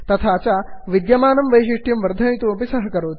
तथा च विद्यमानं वैषिष्ट्यं वर्धयितुमपि सहकरोति